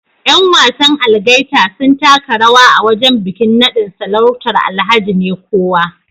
Yan wasan Algaita sun taka rawa a wajen bikin nadin sarautar Alhaji Nekowa